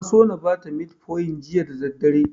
Na so na bata metfomin juya da daddare.